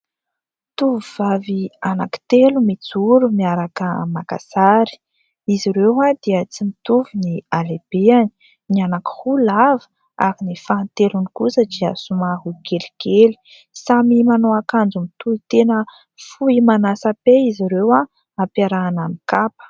Tovovavy anankitelo mijoro, miaraka maka sary. Izy ireo dia tsy mitovy ny halehibeny : ny anankiroa lava, ary ny fahatelony kosa dia somary kelikely. Samy manao akanjo mitohitena fohy manasa-pe izy ireo, ampiarahana amin'ny kapa.